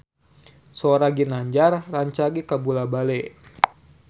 Sora Ginanjar rancage kabula-bale